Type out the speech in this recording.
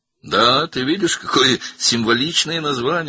Bəli, görürsən, necə simvolik addır.